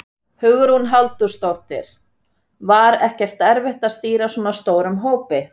Hugrún Halldórsdóttir: Var ekkert erfitt að stýra svona stórum hópi?